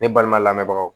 Ne balima lamɛbaga